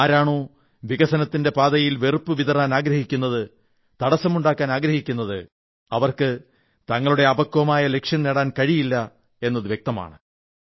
ആരാണോ വികസനത്തിന്റെ പാതയിൽ വെറുപ്പ് വിതറാൻ ആഗ്രഹിക്കുന്നത് തടസ്സമുണ്ടാക്കാൻ ആഗ്രഹീക്കുന്നത് അവർക്ക് തങ്ങളുടെ അപക്വമായ ലക്ഷ്യം നേടാൻ കഴിയില്ല എന്നത് വ്യക്തമാണ്